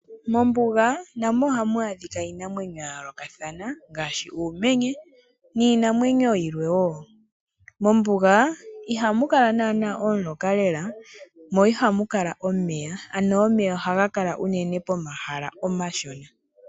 Mombuga namo oha mu adhika iinamwenyo yayoolokatha, ngaashi uumenye niinamwenyo yilwe. Mombuga iha mukala omuloka lela, mo iha mukala omeya, ano omeya oha ga kala unene pomahala omashona.